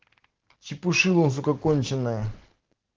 чепушило сука законченное